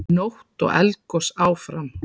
Nótt og Eldgos áfram